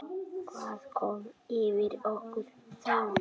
Hvað kom yfir okkur þá?